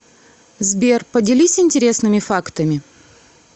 сбер поделись интересными фактами